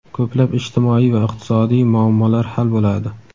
ko‘plab ijtimoiy va iqtisodiy muammolar hal bo‘ladi.